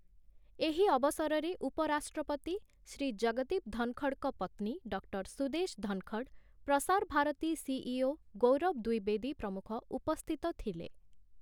ଏହି ଅବସରରେ ଉପରାଷ୍ଟ୍ରପତି ଶ୍ରୀ ଜଗଦୀପ ଧନଖଡ଼ଙ୍କ ପତ୍ନୀ ଡକ୍ଟର ସୁଦେଶ ଧନଖଡ଼, ପ୍ରସାର ଭାରତୀ ସିଇଓ ଗୌରବ ଦ୍ୱିବେଦୀ ପ୍ରମୁଖ ଉପସ୍ଥିତ ଥିଲେ ।